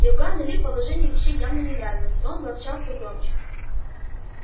иоганну ли положение вещей явно не нравилось и он ворчал всё громче